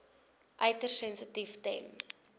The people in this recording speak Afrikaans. uiters sensitief ten